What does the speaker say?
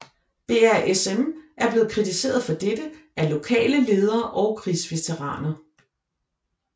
BRSM er blevet kritiseret for dette af lokale ledere og krigsveteraner